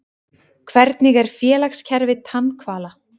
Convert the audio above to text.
Hvernig er félagskerfi tannhvala?